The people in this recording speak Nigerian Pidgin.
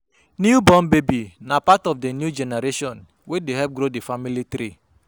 New born baby na part of di new generation wey dey help grow di family tree.